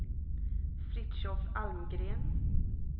Fritiof Almgren